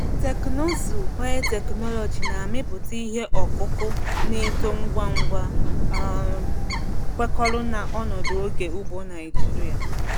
Teknụzụ biotechnology na-amịpụta ihe ọkụkụ na-eto ngwa ngwa, um kwekọrọ na ọnọdụ oge ugbo Naijiria.